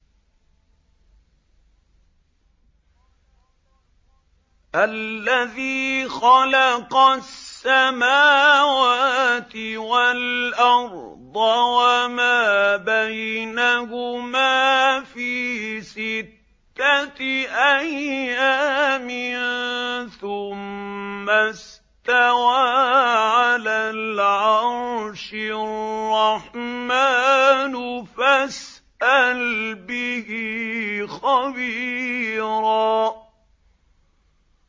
الَّذِي خَلَقَ السَّمَاوَاتِ وَالْأَرْضَ وَمَا بَيْنَهُمَا فِي سِتَّةِ أَيَّامٍ ثُمَّ اسْتَوَىٰ عَلَى الْعَرْشِ ۚ الرَّحْمَٰنُ فَاسْأَلْ بِهِ خَبِيرًا